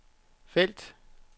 felt